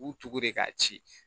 U tugun de k'a ci